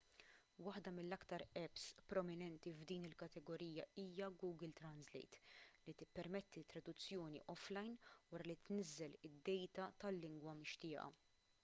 waħda mill-aktar apps prominenti f'din il-kategorija hija google translate li tippermetti traduzzjoni offline wara li tniżżel id-dejta tal-lingwa mixtieqa